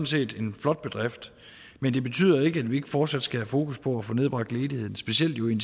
set en flot bedrift men det betyder ikke at vi ikke fortsat skal have fokus på at få nedbragt ledigheden specielt jo i en